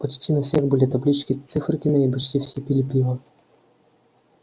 почти на всех были таблички с циферками и почти все пили пиво